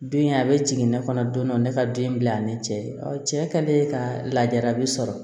Don in a bɛ jigin ne kɔnɔ don dɔ ne ka den bila ni cɛ ye ɔ cɛ kɛlen ka lajarabi sɔrɔ